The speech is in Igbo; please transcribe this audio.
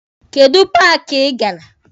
Kedụ paaki ị gara?